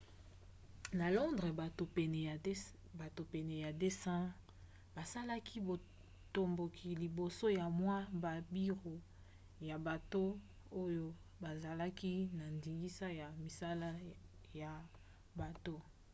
na londres bato pene ya 200 basalaki botomboki liboso ya mwa babiro ya bato oyo bazalaki na ndingisa ya misala ya bato